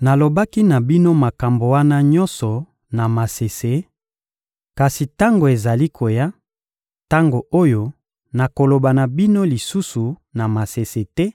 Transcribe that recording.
Nalobaki na bino makambo wana nyonso na masese; kasi tango ezali koya, tango oyo nakoloba na bino lisusu na masese te,